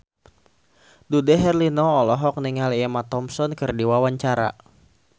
Dude Herlino olohok ningali Emma Thompson keur diwawancara